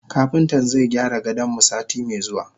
Kapintan zaigyara gadonmu sati me zuwa.